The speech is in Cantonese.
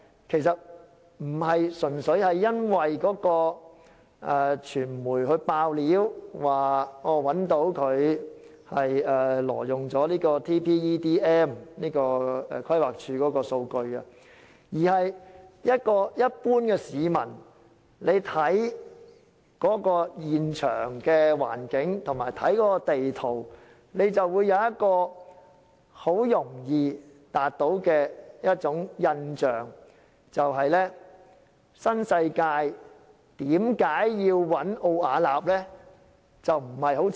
其實並非純粹因為傳媒披露該公司挪用規劃署的數據《全港人口及就業數據矩陣》，而是一般市民觀察現場環境及地圖時，很容易會有一個疑問：新世界為何要委託奧雅納工程顧問公司呢？